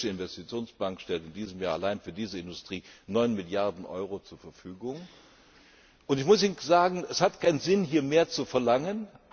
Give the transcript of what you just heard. Die Europäische Investitionsbank stellt in diesem Jahr allein für diese Industrie neun Milliarden Euro zur Verfügung, und ich muss Ihnen sagen, es hat keinen Sinn, hier mehr zu verlangen.